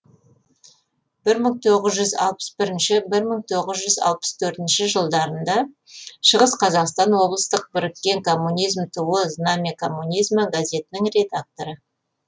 бір мың тоғыз жүз алпыс бірінші бір мың тоғыз жүз алпыс төртінші жылдарында шығыс қазақстан облыстық біріккен коммунизм туы знамя коммунизма газетінің редакторы